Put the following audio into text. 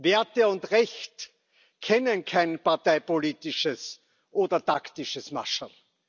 Werte und Recht kennen kein parteipolitisches oder taktisches Mascherl.